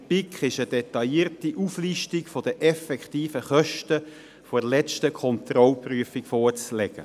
Der BiK ist eine detaillierte Auflistung der effektiven Kosten der letzten Kontrollprüfung vorzulegen.